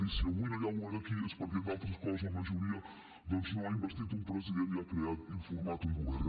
i si avui no hi ha govern aquí és perquè entre altres coses la majoria doncs no ha investit un president ni ha format un govern